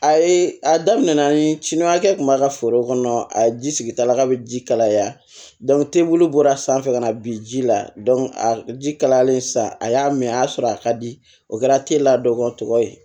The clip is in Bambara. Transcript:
A ye a daminɛ ni cini hakɛ tun b'a ka foro kɔnɔ a ji sigi tala ka ji kalaya bɔra sanfɛ ka na bi ji la a ji kalayalen sa a y'a mɛn a y'a sɔrɔ a ka di o kɛra telila dɔ tɔgɔ ye